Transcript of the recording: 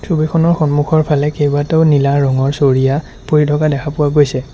ছবিখনৰ সন্মুখৰ ফালে কেইবাটাও নীলা ৰঙৰ চৰিয়া পৰি থকা দেখা পোৱা গৈছে।